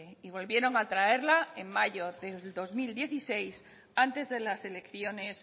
y volvieron a traerla en mayo del dos mil dieciséis antes de las elecciones